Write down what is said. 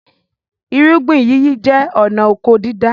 Irúgbìn yíyí jẹ́ ọnà oko dídá